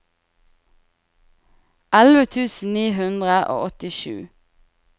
elleve tusen ni hundre og åttisju